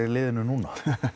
liðinu núna